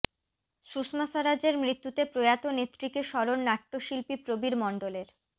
সুষমা স্বরাজের মৃত্যুতে প্রয়াত নেত্রীকে স্মরণ নাট্যশিল্পী প্রবীর মণ্ডলের